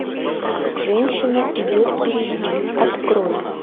женщина идет впереди открой